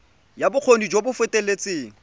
ya bokgoni jo bo feteletseng